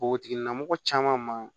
Npogotigilamɔgɔ caman ma